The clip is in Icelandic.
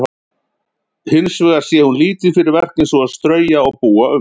Hins vegar sé hún lítið fyrir verk eins og að strauja og búa um.